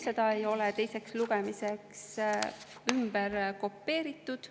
Seda ei ole teiseks lugemiseks ümber kopeeritud.